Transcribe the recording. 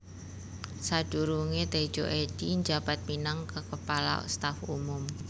Sadurunge Tedjo Edhy njabat minang kaKepala Staf Umum